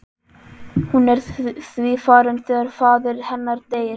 Hún er því farin þegar faðir hennar deyr.